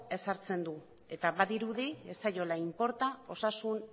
ezartzen du eta badirudi ez zaiola inporta osasun